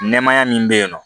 Nɛmaya min be yen nɔ